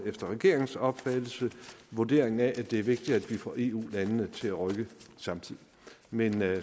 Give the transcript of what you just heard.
efter regeringens opfattelse vurderingen af at det er vigtigt at vi får eu landene til at rykke samtidigt men